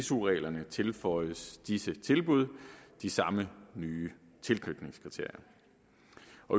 su reglerne tilføjes disse tilbud de samme nye tilknytningskriterier